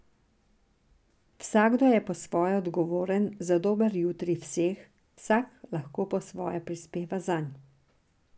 Vsakdo je po svoje odgovoren za dober jutri vseh, vsak lahko po svoje prispeva zanj.